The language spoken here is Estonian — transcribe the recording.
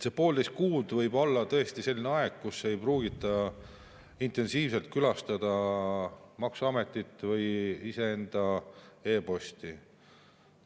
See poolteist kuud võib olla tõesti selline aeg, kus ei pruugita intensiivselt külastada maksuametit või iseenda e‑posti.